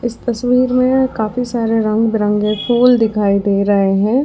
इस तस्वीर में काफी सारे रंग बिरंगे फूल दिखाई दे रहे हैं।